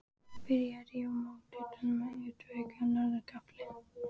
Byrjað að rífa mót utan af útveggjum á norður gafli.